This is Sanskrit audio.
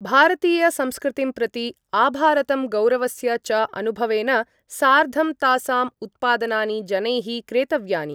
भारतीयसंस्कृतिं प्रति आभारतं गौरवस्य च अनुभवेन सार्धं तासां उत्पादनानि जनैः क्रेतव्यानि।